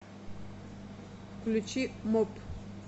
включи м о п